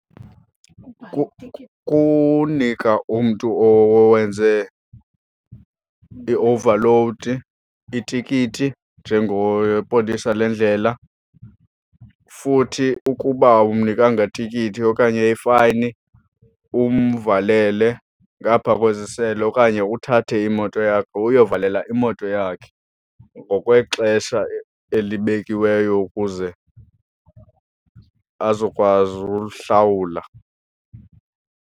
Kunika umntu owenze iowuvalowudi itikiti njengopolisa lendlela futhi ukuba awumnikanga tikiti okanye ifayini, umvalele ngaapha kwezisele. Okanye uthathe imoto yakhe, uyovalela imoto yakhe ngokwexesha elibekiweyo ukuze azokwazi uhlawula.